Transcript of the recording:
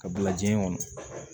Ka bila jiɲɛ kɔnɔ